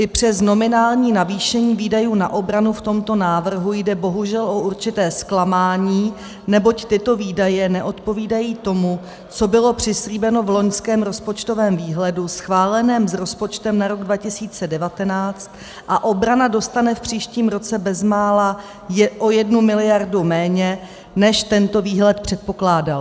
I přes nominální navýšení výdajů na obranu v tomto návrhu jde bohužel o určité zklamání, neboť tyto výdaje neodpovídají tomu, co bylo přislíbeno v loňském rozpočtovém výhledu schváleném s rozpočtem na rok 2019, a obrana dostane v příštím roce bezmála o jednu miliardu méně, než tento výhled předpokládal...